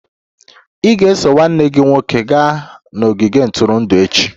Ị ga-eso nwanne gị nwoke gaa n'ogige ntụrụndụ echi!